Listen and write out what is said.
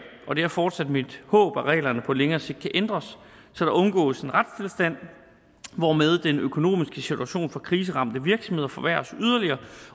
og det er fortsat mit håb at reglerne på længere sigt kan ændres så der undgås en retstilstand hvormed den økonomiske situation for kriseramte virksomheder forværres yderligere